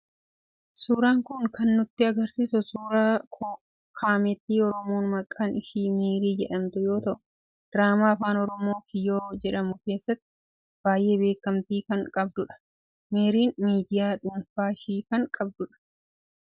Suuraan kun kan nutti agarsiisu suuraa kaametti Oromoo maqaan ishii Meerii jedhamtu yoo ta'u, diraamaa Afaan Oromoo Kiyyoo jedhamu keessatti baay'ee beekamtii kan qabdudha. Meeriin miidiyaa dhuunfaa ishii kan qabdudha.